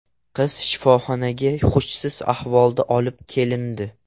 Qiz shifoxonaga hushsiz ahvolda olib kelindi.